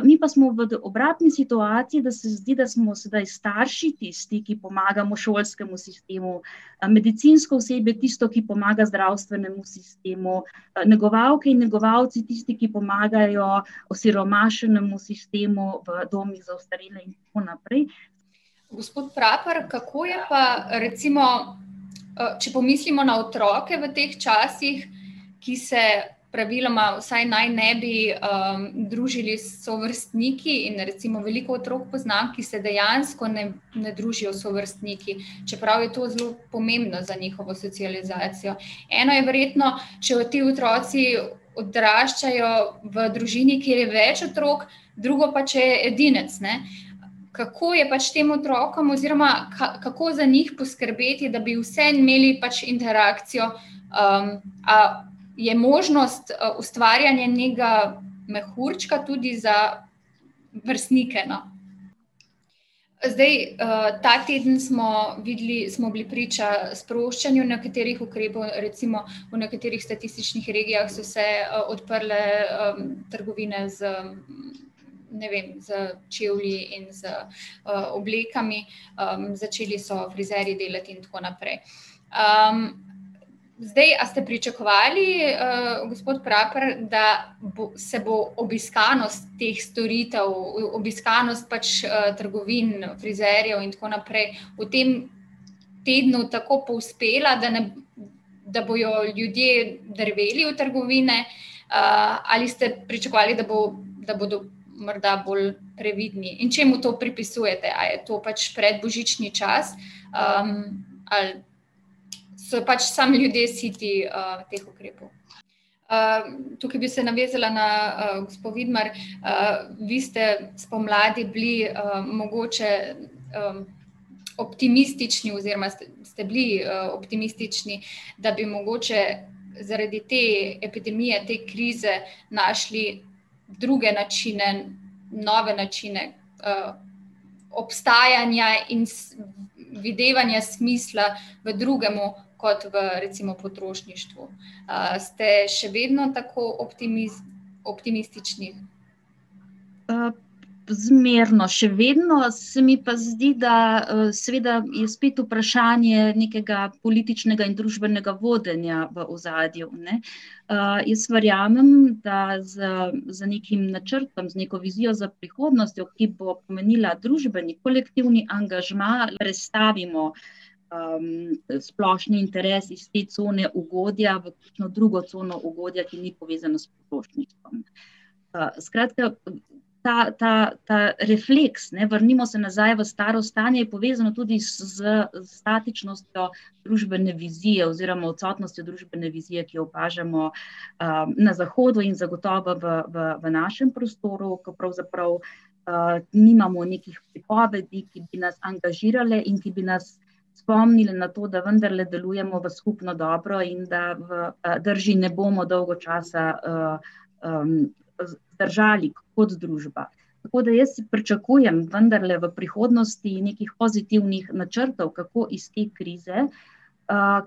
mi pa smo v obratni situaciji, da se zdi, da smo sedaj starši tisti, ki pomagamo šolskemu sistemu, medicinsko osebje tisto, ki pomaga zdravstvenemu sistemu, negovalke in negovalci tisti, ki pomagajo osiromašenemu sistemu v domih za ostarele, in tako naprej. Gospod Praper, kako je pa recimo, če pomislimo na otroke v teh časih, ki se praviloma vsaj naj ne bi, družili s sovrstniki, in recimo veliko otrok poznam, ki se dejansko ne, ne družijo s sovrstniki, čeprav je to zelo pomembno za njihovo socializacijo. Ena je verjetno, če te otroci, odraščajo v družini, kjer je več otrok, drugo pa, če je edinec, ne. Kako je pač tem otrokom oziroma kako za njih poskrbeti, da bi vseeno imeli pač interakcijo, a je možnost, ustvarjanje nekega mehurčka tudi za vrstnike, no? Zdaj, ta teden smo videli, smo bili priča sproščanju nekaterih ukrepov, recimo v nekaterih statističnih regijah so se, odprle, trgovine z, ne vem, s čevlji in z, oblekami. začeli so frizerji delati in tako naprej. zdaj, a ste pričakovali, gospod Praper, da bo, se bo obiskanost teh storitev, obiskanost pač, trgovin, frizerjev in tako naprej v tem tednu tako povzpela, da ne ... Da bojo ljudje drveli v trgovine, ali ste pričakovali, da bo, da bodo morda bolj previdni? In čemu to pripisujete, a je to pač predbožični čas, ali so pač samo ljudje siti, teh ukrepov? tukaj bi se navezala na, gospo Vidmar, vi ste spomladi bili, mogoče, optimistični oziroma ste, ste bili, optimistični, da bi mogoče zaradi te epidemije, te krize našli druge načine, nove načine, obstajanja in videvanja smisla v drugem kot v, recimo potrošništvu. ste še vedno tako optimistični? zmerno še vedno, se mi pa zdi, da, seveda je spet vprašanje nekega političnega in družbenega vodenja v ozadju, ne. jaz verjamem, da z, z nekim načrtom, z neko vizijo za prihodnostjo, ki bo pomenila družbeni, kolektivni angažma, prestavimo, splošni interes iz te cone ugodja v neko drugo cono ugodja, ki ni povezana s potrošništvom. skratka, ta, ta, ta refleks, ne, vrnimo se nazaj v staro stanje, je povezano tudi s statičnostjo družbene vizije oziroma odsotnostjo družbene vizije, ki jo opažamo, na zahodu in zagotovo v, v našem prostoru, ko pravzaprav, nimamo nekih pripovedi, ki bi nas angažirale in ki bi nas spomnile na to, da vendarle delujemo v skupno dobro in da v, drži ne bomo dolgo časa, držali kot družba. Tako da jaz pričakujem vendarle v prihodnosti nekaj pozitivnih načrtov, kako iz te krize,